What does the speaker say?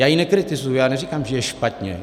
Já ji nekritizuji, já neříkám, že je špatně.